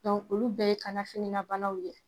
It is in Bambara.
Dɔnku olu bɛɛ ye kanafininabanaw de ye